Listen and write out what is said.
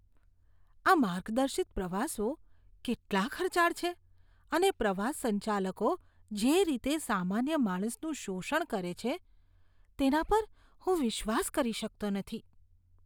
આ માર્ગદર્શિત પ્રવાસો કેટલા ખર્ચાળ છે અને પ્રવાસ સંચાલકો જે રીતે સામાન્ય માણસનું શોષણ કરે છે, તેના પર હું વિશ્વાસ કરી શકતો નથી.